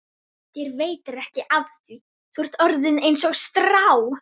Þér veitir ekki af því, þú ert orðinn einsog strá.